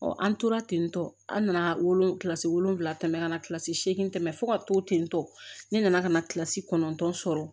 an tora tentɔ an nana wolon wolonwula tɛmɛ ka na kilasi seegin tɛmɛ fo ka to ten tɔ ne nana ka na kilasi kɔnɔntɔn sɔrɔ